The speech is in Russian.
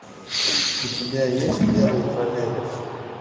у тебя есть первый троллейбус